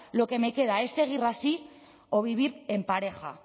lo que me queda es seguir así o vivir en pareja